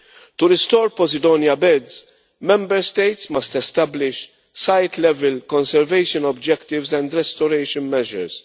To restore Posidonia beds, Member States must establish site level conservation objectives and restoration measures.